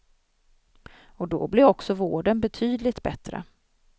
Och då blir också vården betydligt bättre.